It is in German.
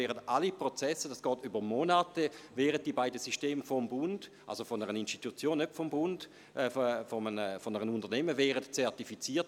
Während Monaten werden diese Systeme durch ein Unternehmen zertifiziert.